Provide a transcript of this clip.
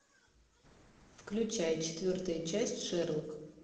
включай четвертая часть шерлок